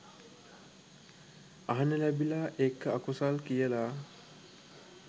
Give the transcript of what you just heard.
අහන්න ලැබිලා ඒක අකුසල් කියලා